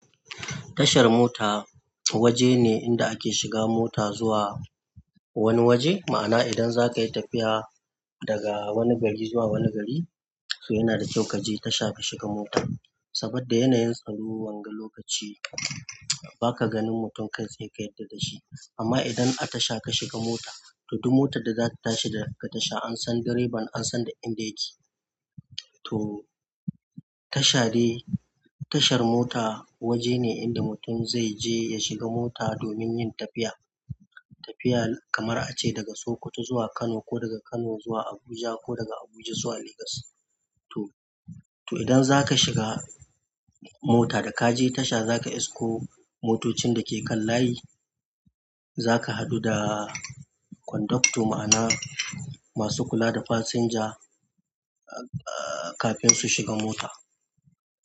Tashar mota waje ne inda ake shiga mota zuwa wani waje. Ma'ana idan zaka yi tafiya daga wani gari zuwa wani gari, to yana da kyau ka je tasha ka shiga mota. Saboda yanayin tsaro wanga lokaci ba ka ganin mutum kai tsaye ka yarda da shi. Amma idan a tasha ka shiga mota, to duk motar da za ta tashi daga tasha an san direban, an san duk inda yake. To tasha dai, tashar mota waje ne inda mutum zai je ya shiga mota domin yin tafiya. Tafiya kamar a ce daga Sokoto zuwa Kano ko daga Kano zuwa Abuja ko daga Abuja zuwa Legas. To, to idan zaka shiga mota da ka je tasha, zaka isko motocin da ke kan layi, zaka haɗu da conductor ma'ana masu kula da fasinja ah kafin su shiga mota.